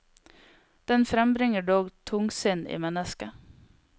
Den frembringer dog tungsinn i mennesket.